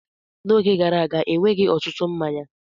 N'oge gara aga, enweghị ọtụtụ mmanya.